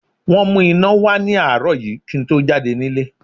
Wọ́n mú iná wá ní àárọ̀ yìí kí n tó jáde nílé